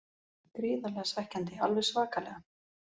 Gríðarlega svekkjandi, alveg svakalega.